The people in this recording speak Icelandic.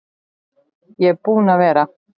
Ég er búinn að vera